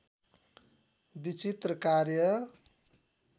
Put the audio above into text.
विचित्र कार्य